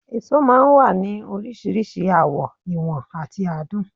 Èso máa ń wà ní oríṣiríṣi àwọ̀, ìwọ̀n àti àádùn